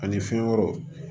Ani fɛn wɛrɛw